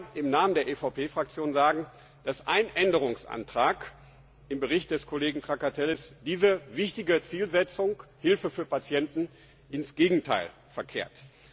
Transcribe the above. Aber leider muss ich im Namen der EVP Fraktion sagen, dass ein Änderungsantrag im Bericht des Kollegen Trakatellis diese wichtige Zielsetzung, nämlich Hilfe für Patienten, ins Gegenteil verkehrt.